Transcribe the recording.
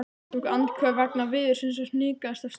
Hann tók andköf vegna veðursins og hnikaðist af stað.